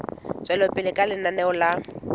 tswela pele ka lenaneo la